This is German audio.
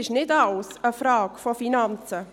Nicht alles ist eine Frage der Finanzen.